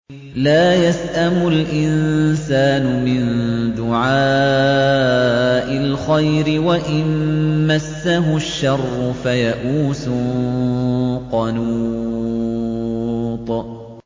لَّا يَسْأَمُ الْإِنسَانُ مِن دُعَاءِ الْخَيْرِ وَإِن مَّسَّهُ الشَّرُّ فَيَئُوسٌ قَنُوطٌ